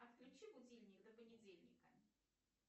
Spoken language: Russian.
отключи будильник до понедельника